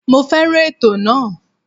Mo fẹ́ràn ètò náà.